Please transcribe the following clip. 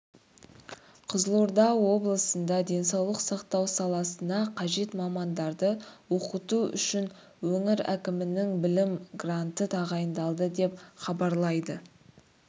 қызылорда облысында денсаулық сақтау саласына қажет мамандарды оқыту үшін өңір әкімінің білім гранты тағайындалды деп хабарлайды